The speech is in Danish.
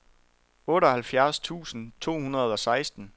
otteoghalvfjerds tusind to hundrede og seksten